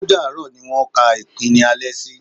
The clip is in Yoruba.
Ó dààrọ́ ni wọ́n kan ìkíní alẹ́ sí.